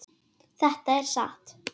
Þetta er satt.